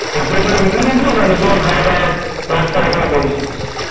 হোটেলের সাথে include ছিল নাকি নিজেরা খাওয়া দাওয়ার ব্যবস্থা করেছিলি